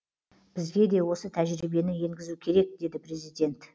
бізге де осы тәжірибені енгізу керек деді президент